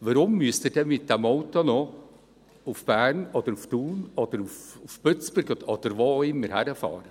Warum müssen Sie denn mit diesem Auto noch nach Bern oder nach Thun oder nach Bützberg oder wohin auch immer fahren?